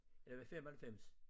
Ja ved 95